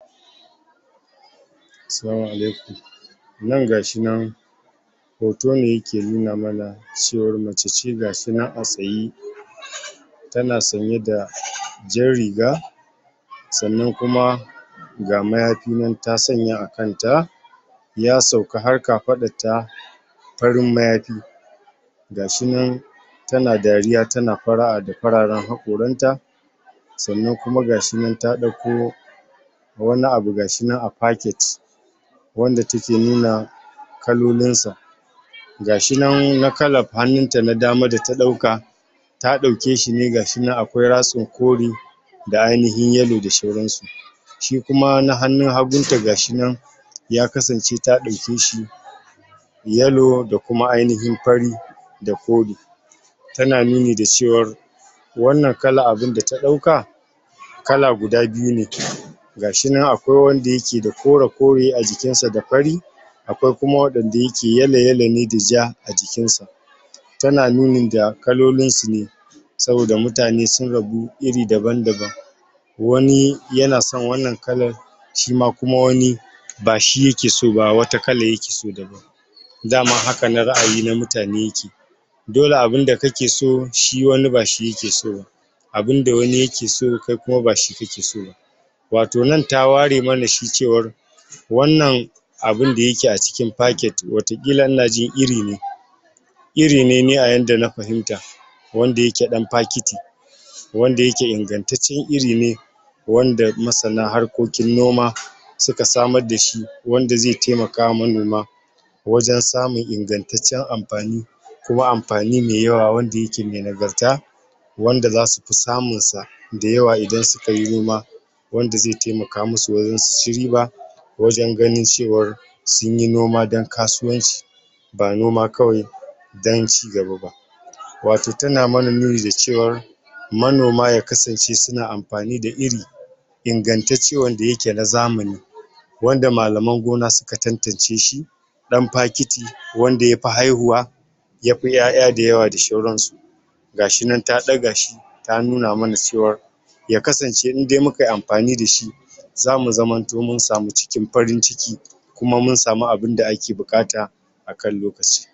Salamu Alaikum nan gashi nan hoto ne yake nuna mana cewar mace ce gata nan a tsaye? tana sanye da? jar riga sannan kuma ga mayafi nan ta sanya a kanta ya sauka har kafaɗar ta farin mayafi gashi nan tana dariya tana fara;a da fararen haƙoranta sannan kuma gashi nan ta ɗauko wani abu gashi nan a faket wanda take nuna kalolin sa gashi nan na kalar hannun ta na dama da ta dauka ta ɗauke shi ne gashi nan akwai ratsin kore da ainihin yalo da sauransu shi kuma na hannun hagun ta gashi nan ya kasance ta dauke shi yalo da kuma ainihin fari da kore tana nuni da cewar wannan kalar da ta ɗauka kala guda biyu ne ciki gashi nan akwai wanda yake da kore-kore a cikin sa da fari akwai kuma wanda yake yalo yalo ne da ja a jikin sa tana nuni da kalolinsu ne saboda mutane sun rabu iri daban-daban wani yana son wannan kalar shima kuma wani bashi yake so ba wata kalar yake so daban dama hakanan ra'ayi na mutane yake dole abun da kake so shi wani bashi yake so ba abun da wani yake so kai kuma bashi kake so ba wato nan ta ware mana shi cewa wannan abun da yake a cikin faket wata ƙila inajin iri ne iri ne ni a yadda na fahimta wanda yake dan fakiti wanda yake ingantaccen iri ne wanda masana harkokin noma suka samar dashi wanda zai taimaka ma manoma wajen samun ingantaccen amfani kuma amfani mai yawa wanda yake mai nagarta wanda za su fi samun sa da yawa idan suka yi noma wanda zai taimaka musu wajen su ci riba wajen ganin cewar sun yi noma don kasuwanci ba noma kawai don ci gaba ba wato tana mana nuni da cewar manoma ya kasance suna amfani da iri ingantacce wanda yake na zamani wanda malaman gona suka tantance shi dan fakiti wanda yafi haihuwa yafi 'ya 'ya da yawa da sauran su gashi nan ta daga shi ta nuna mana cewar ya kasance indai mukai amfani dashi za mu zamanto mun samu cikin farin ciki kuma mun samu abun da ake buƙata akan lokaci